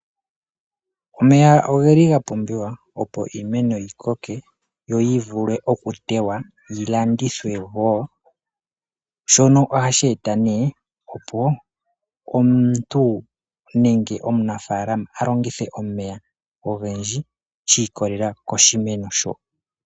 Omeya ogeli gapumbiwa opo iimeno yikoke yo yivule okutewa yilandithwe wo, shono ohashi eta nee opo omuntu nenge omunafaalama a longithe omeya ogendji shi ikolelela koshimeno sho.